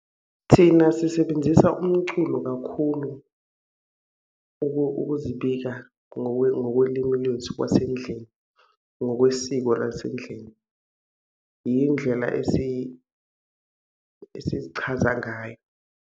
Thina sisebenzisa umculo kakhulu ukuzibika ngokolimi lwethu kwasendlini, ngokwesiko lasendlini. Yindlela esizichaza ngayo.